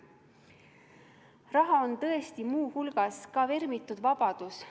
Raha on tõesti muu hulgas vermitud vabadus.